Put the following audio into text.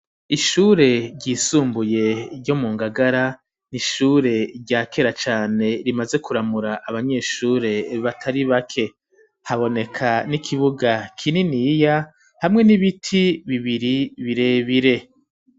Ishure ryisumbuye ryo mu ngagara n'ishure ryakera cane rimaze kuramura abanyeshure batari bake haboneka n'ikibuga kinini ya hamwe n'ibiti bibiri birebire.